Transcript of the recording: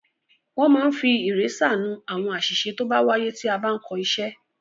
Wọ́n máa ń fi ìrésà nú àwọn àṣìṣe tó bá wáyé tí a bá ń kọ iṣẹ́.